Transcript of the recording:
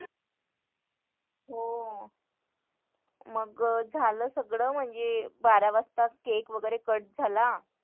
हो मग झालं सगळं म्हणजे बारा वाजता cake वगैरे cut झाला